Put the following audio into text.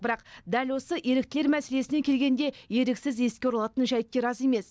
бірақ дәл осы еріктілер мәселесіне келгенде еріксіз еске оралатын жайттер аз емес